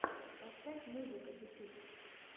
поставь музыка ютюб